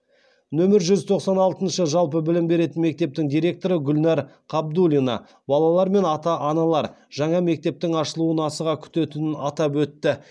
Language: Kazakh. нөмірі жүз тоқсан алтыншы жалпы білім беретін мектептің директоры гүлнәр қабдуллина балалар мен ата аналар жаңа мектептің ашылуын асыға күтетінін атап өтті